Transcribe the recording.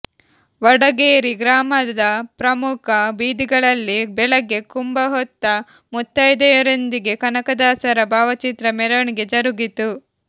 ವಡಗೇರಿ ಗ್ರಾಮದ ಪ್ರಮುಖ ಬೀದಿಗಳಲ್ಲಿ ಬೆಳಗ್ಗೆ ಕುಂಭಹೊತ್ತ ಮುತ್ತೈದೆಯರೊಂದಿಗೆ ಕನಕದಾಸರ ಭಾವಚಿತ್ರ ಮೆರವಣಿಗೆ ಜರುಗಿತು